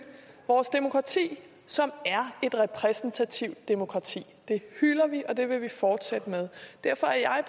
vores demokrati som er et repræsentativt demokrati det hylder vi og det vil vi fortsætte med derfor er